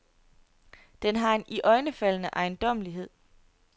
Den har en iøjnefaldende ejendommelighed.